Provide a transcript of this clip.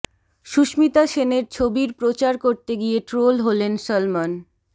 সুস্মিতা সেনের ছবির প্রচার করতে গিয়ে ট্রোল হলেন সলমন